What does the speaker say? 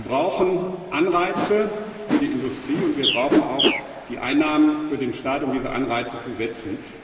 Wir brauchen Anreize für die Industrie und wir brauchen auch Einnahmen für den Staat, um diese Anreize zu setzen.